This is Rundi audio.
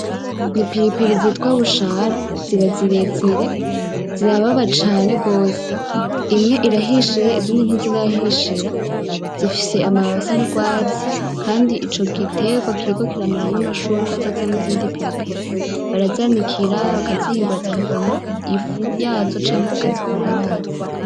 Ni ipiripiri zitwa bushara, ziba zibezere, zirababa cane gose. Imwe irahishiye izindi ntizirahishira. Zifise amababi asa n’urwatsi, kandi ico gitegwa kiriko kiramenera n’amashurwe azovamwo izindi piripiri. Barazanikira bakazihingura zikavamwo ifu yazo canke bakazikora amazi.